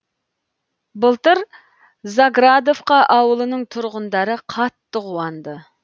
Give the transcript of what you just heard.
былтыр заградовка ауылының тұрғындары қатты қуанды